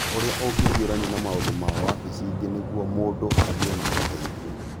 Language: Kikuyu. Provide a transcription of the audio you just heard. Ũrĩa ũngĩhiũrania na maũdũ ma wabici ĩngĩ nĩguo mũndũ agĩe na ũteithio.